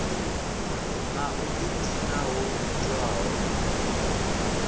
na u ḓidina ho itiwaho